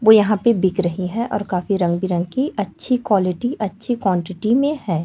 वो यहाँ पे बिक रहे है और काफी रंग-बिरंगी अच्छी क्वालिटी और अच्छी क्वांटिटी में है।